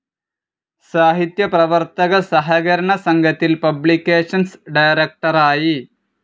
സാഹിത്യ പ്രവർത്തക സഹകരണ സംഘത്തിൽ പബ്ലിക്കേഷൻസ്‌ ഡയറക്ടറായി.